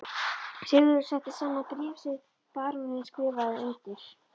Sigurður setti saman bréf sem baróninn skrifaði undir.